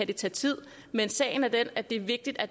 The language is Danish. det tage tid men sagen er den at det er vigtigt at